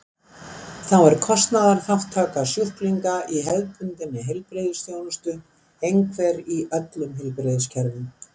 þá er kostnaðarþátttaka sjúklinga í hefðbundinni heilbrigðisþjónustu einhver í öllum heilbrigðiskerfum